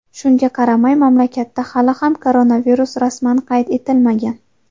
Shunga qaramay, mamlakatda hali ham koronavirus rasman qayd etilmagan.